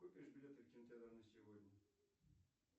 купишь билеты в кинотеатр на сегодня